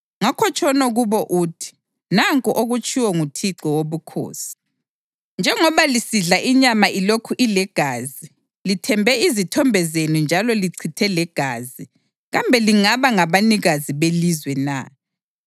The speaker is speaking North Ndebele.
Ngakho tshono kubo uthi, ‘Nanku okutshiwo nguThixo Wobukhosi: Njengoba lisidla inyama ilokhu ilegazi lithembe izithombe zenu njalo lichithe legazi, kambe lingaba ngabanikazi belizwe na?